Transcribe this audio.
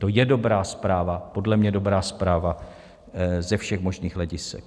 To je dobrá zpráva, podle mě dobrá zpráva ze všech možných hledisek.